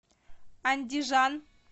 андижан